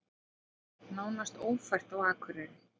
Nánast ófært á Akureyri